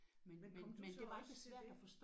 Men kom du så også til det?